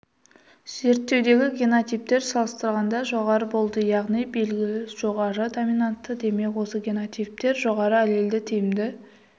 зерттеудегі генотиптермен салыстырғанда жоғары болды яғни белгі жоғары доминантты демек осы генотиптер жоғары аллелді тиімді